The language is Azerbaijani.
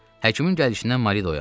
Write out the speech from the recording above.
Həkimin gəlişindən Mari oyandı.